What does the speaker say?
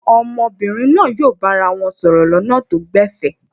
Àwọn ọmọbìnrin náà yóò bára wọn sọ̀rọ̀ lọ́nà tó gbẹ̀fẹ̀.